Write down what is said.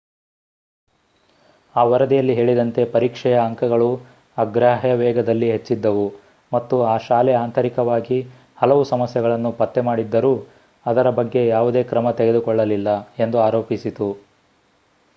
ಆ ವರದಿಯಲ್ಲಿ ಹೇಳಿದಂತೆ ಪರೀಕ್ಷೆಯ ಅಂಕಗಳು ಅಗ್ರಾಹ್ಯ ವೇಗದಲ್ಲಿ ಹೆಚ್ಚಿದ್ದವು ಮತ್ತು ಆ ಶಾಲೆ ಆಂತರಿಕವಾಗಿ ಹಲವು ಸಮಸ್ಯೆಗಳನ್ನು ಪತ್ತೆಮಾಡಿದ್ದರೂ ಅದರ ಬಗ್ಗೆ ಯಾವುದೇ ಕ್ರಮ ತೆಗೆದುಕೊಳ್ಳಲಿಲ್ಲ ಎಂದು ಆರೋಪಿಸಿತು